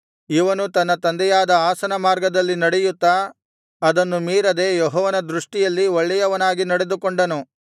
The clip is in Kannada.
ಇವನು ತನ್ನ ತಂದೆಯಾದ ಆಸನ ಮಾರ್ಗದಲ್ಲಿ ನಡೆಯುತ್ತಾ ಅದನ್ನು ಮೀರದೆ ಯೆಹೋವನ ದೃಷ್ಟಿಯಲ್ಲಿ ಒಳ್ಳೆಯವನಾಗಿ ನಡೆದುಕೊಂಡನು